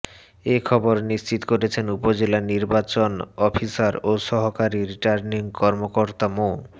এ খবর নিশ্চিত করেছেন উপজেলা নির্বাচন অফিসার ও সহকারী রিটার্নিং কর্মকর্তা মো